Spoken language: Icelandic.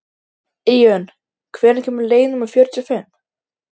Menn hjuggu og stungu á báða bóga.